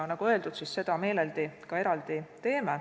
Nagu öeldud, seda me meeleldi ka eraldi teeme.